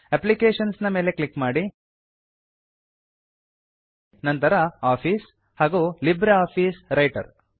applications ನ ಮೇಲೆ click ಮಾಡಿ ನಂತರ ಆಫೀಸ್ ಹಾಗೂ ಲಿಬ್ರಿಆಫಿಸ್ ವ್ರೈಟರ್